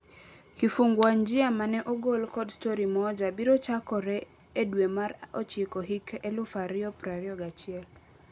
Kifungua njia mane ogol kod Story Moja biro chakore edwe mar ochiko hik eluf ario prario gachiel.